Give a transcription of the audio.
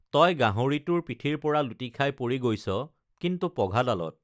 তই গাহৰিটোৰ পিঠিৰ পৰা লুটিখাই পৰি গৈছ কিন্তু পঘাডালত